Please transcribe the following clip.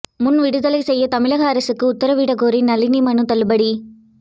முன்விடுதலை செய்ய தமிழக அரசுக்கு உத்தரவிட கோரிய நளினி மனு தள்ளுபடி